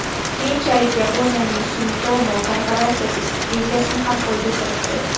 Keyinchalik Yaponiyaning Sumitomo korporatsiyasi stipendiyasini ham qo‘lga kiritdi.